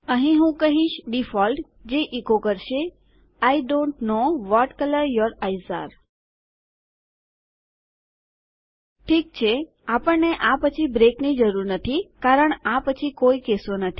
અહીં હું કહીશ ડિફોલ્ટ જે એચો કરશે I don't know what colour your eyes અરે ઠીક છે આપણને આ પછી બ્રેકની જરૂર નથી કારણ આ પછી કોઈ કેસો નથી